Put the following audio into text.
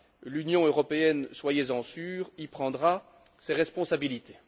L'Union européenne soyez en sûrs y prendra ses responsabilités.